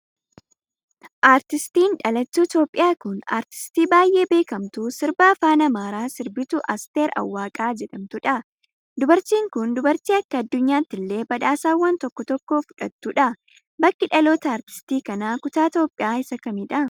Artiistiin dhalattuu Itoophiyaa kun, aartistii baay'ee beekamtuu sirba afaan Amaaraa sirbitu Asteer Awwaqa jedhamtuu dha. Dubartiin kun, dubartii akka addunyaatillee badhaasawwan tokko tokko fudhattuu dha. Bakki dhaloota aartistii kanaa kutaa Itoophiyaa isa kamii dha?